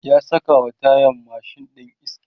ya sakawa tayan mashin ɗin iska